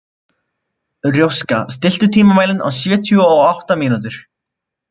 Róska, stilltu tímamælinn á sjötíu og átta mínútur.